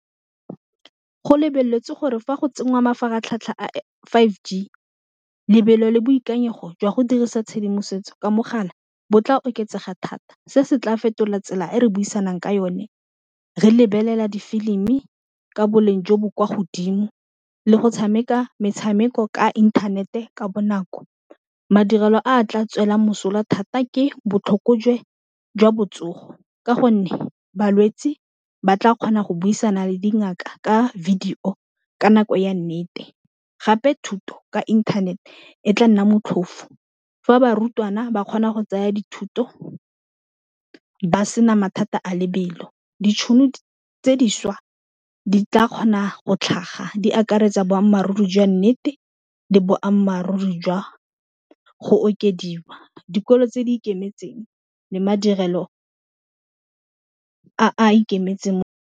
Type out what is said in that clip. Go lebeletse gore fa go tsengwa mafaratlhatlha a five g lebelo le boikanyego jwa go dirisa tshedimosetso ka mogala bo tla oketsega thata se se tla fetola tsela e re buisang ka yone re lebelela difilimi e ka boleng jo bo kwa godimo, le go tshameka metshameko ka inthanete ka bonako, madirelo a tla tswelelang mosola thata ke botlhokojwe jwa botsogo, ka gonne balwetsi ba tla kgona go buisana le dingaka ka video-o ka nako ya nnete, gape thuto ka internet-e tla nna motlhofo fa barutwana ba kgona go tsaya dithuto ba sena mathata a lebelo, ditšhono tse dišwa di tla kgona go tlhaga di akaretsa boammaaruri jwa nnete, le boammaaruri jwa go okediwa dikolo tse di ikemetseng le madirelo a a ikemetseng.